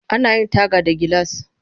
Ana yin taga da gilas